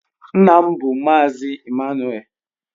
Nna m bụ Mazị Ịmmanuel.